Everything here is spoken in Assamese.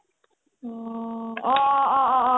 অ' অ অ অ অ অ